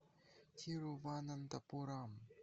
тируванантапурам